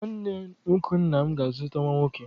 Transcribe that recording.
Nwanne nwoke nna m ga-azụta nwa nwoke